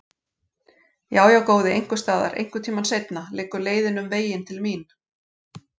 Já, já, góði, einhvers staðar, einhvern tíma seinna, liggur leiðin um veginn til mín.